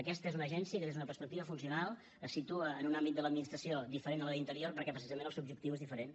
aquesta és una agència que des d’una perspectiva funcional es situa en un àmbit de l’administració diferent de la d’interior perquè precisament el seu objectiu és diferent